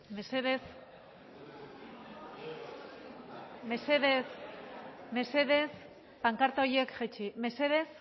mesedez pankarta horiek jaitsi mesedez